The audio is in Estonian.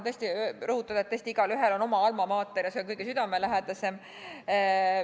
Kohe tahan rõhutada, et tõesti, igaühel on oma alma mater ja see on kõige südamelähedasem.